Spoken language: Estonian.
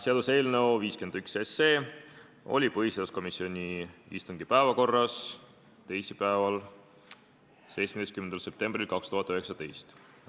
Seaduseelnõu 51 oli põhiseaduskomisjoni istungi päevakorras teisipäeval, 17. septembril 2019.